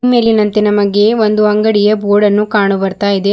ಮೇಲಿನಂತೆ ನಮಗೆ ಒಂದು ಅಂಗಡಿಯ ಬೋರ್ಡನ್ನು ಕಾಣುಬರ್ತಾಯಿದೆ.